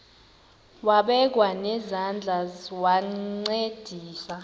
wabekwa nezandls wancedisa